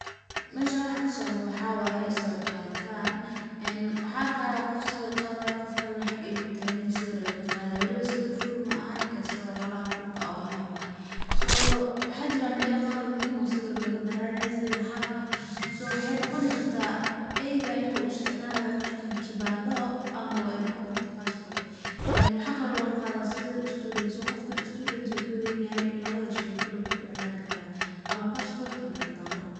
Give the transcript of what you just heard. Meshan waxaa kasocdho waxaa waye sawir qaditan , een waxaan arkaya qof swir qadayo qof kale na xaga ayu kataganyahay sawir ayuu kaqadayaa, oo weliba sawir full maahan halan kurka oo haf eh, so waxaa mela qar oo muhim oo sawir logabahanyahay, sawir haf eh, so waxay noqoni kartah either in uu isticmalayo qofka kibando ama wa ay noqon karto basbot, een waxaa kale logaqadah sawir student, kas oo qofka student kaweynyahay lawada shey kaliya isticmali karo , ama basbot ama kibando.